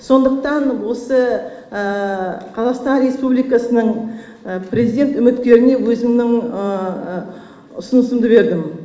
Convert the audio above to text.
сондықтан осы қазақстан республикасының президент үміткеріне өзімнің ұсынысымды бердім